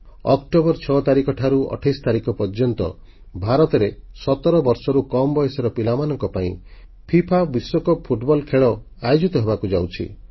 October 6 ତାରିଖଠାରୁ 28 ତାରିଖ ପର୍ଯ୍ୟନ୍ତ ଭାରତରେ 17 ବର୍ଷରୁ କମ୍ ବୟସର ପିଲାମାନଙ୍କ ପାଇଁ ଫିଫା ବିଶ୍ୱକପ ଫୁଟବଲ ଖେଳ ଆୟୋଜିତ ହେବାକୁ ଯାଉଛି